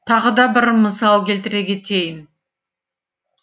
тағы да бір мысал келтіре кетейін